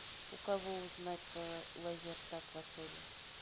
у кого узнать про лазертаг в отеле